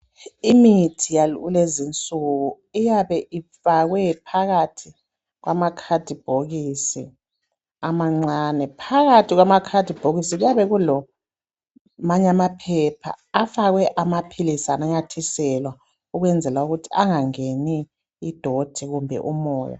Imithi yakulezinsuku iyabe ifakwe phakathi kwamakadibhokisi amancane. Phakathi kwamakadibhokisi kuyabe kulamanye amaphepha afakwe amapilisi anyanathiselwa ukwenzela ukuthi angangeni idoti kumbe umoya.